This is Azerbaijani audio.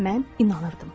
Mən inanırdım.